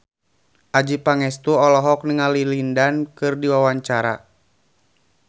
Adjie Pangestu olohok ningali Lin Dan keur diwawancara